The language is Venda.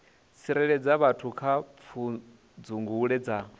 tsireledza vhathu kha pfudzungule dza